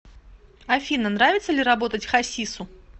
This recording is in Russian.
афина нравится ли работать хасису